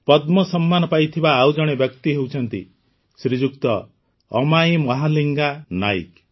ପଦ୍ମ ସମ୍ମାନ ପାଇଥିବା ଆଉ ଜଣେ ବ୍ୟକ୍ତି ହେଉଛନ୍ତି ଶ୍ରୀଯୁକ୍ତ ଅମାଇ ମହାଲିଙ୍ଗା ନାଇକ୍